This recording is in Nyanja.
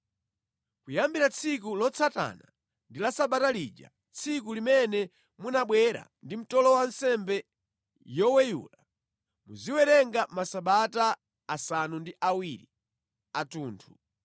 “ ‘Kuyambira tsiku lotsatana ndi la Sabata lija, tsiku limene munabwera ndi mtolo wa nsembe yoweyula, muziwerenga masabata asanu ndi awiri athunthu.